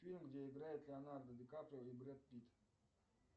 фильм где играют леонардо ди каприо и брэд питт